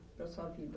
Para a sua vida?